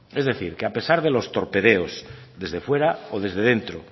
es decir que a pesar de los torpedeos desde fuera o desde dentro